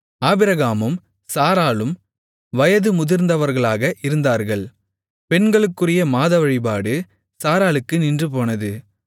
ஆபிரகாமும் சாராளும் வயது முதிர்ந்தவர்களாக இருந்தார்கள் பெண்களுக்குரிய மாதவழிபாடு சாராளுக்கு நின்றுபோனது